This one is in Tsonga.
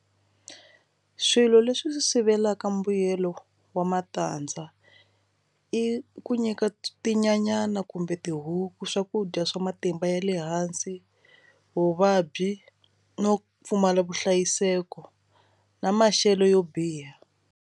Swilo leswi sivelaka mbuyelo wa matandza i ku nyika tinyanyani kumbe tihuku swakudya swa matimba ya le hansi vuvabyi no pfumala vuhlayiseko na maxelo yo biha.